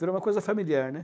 Virou uma coisa familiar, né?